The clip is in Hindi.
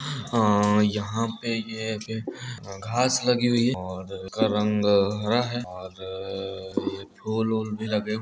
और यहां पे यह-येह घास लगी हुई है और इसका रंग हरा है और फुल चल भी लगे ---